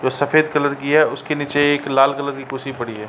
जो सफ़ेद कलर की है उसके नीचे एक लाल कलर की कुर्सी पड़ी है। .